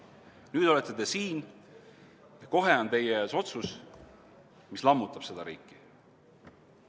Nüüd olete te siin, kohe on teie ees otsus, mis lammutab seda riiki.